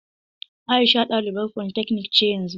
Aisha ɗalibar polytechnic ce yanzu.